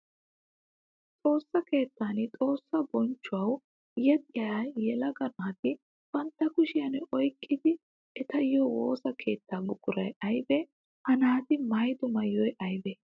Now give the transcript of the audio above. Xoosa keettan xoosa bonchuwawu yexxiya geela'o naati bantta kushiyan oyqqiddi eettiyo woosa keetta buquray aybe? Ha naati maayiddo maayoy aybe?